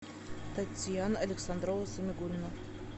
татьяна александрова самигуллина